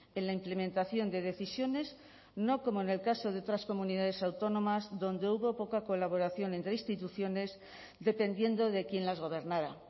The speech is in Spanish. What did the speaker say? en la implementación de decisiones no como en el caso de otras comunidades autónomas donde hubo poca colaboración entre instituciones dependiendo de quién las gobernara